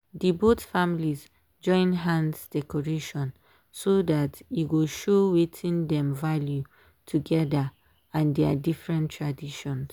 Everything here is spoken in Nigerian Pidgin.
dey both families join hands decoration so that e go show wetin dem value together and their different traditions.